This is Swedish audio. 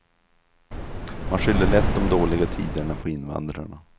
Man skyller lätt de dåliga tiderna på invandrarna.